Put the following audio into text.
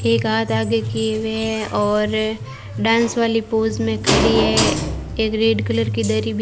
एक हाथ आगे किए हुए है और डांस वाली पोज में खड़ी है एक रेड कलर की दरी ब --